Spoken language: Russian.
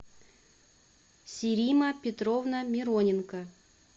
сирима петровна мироненко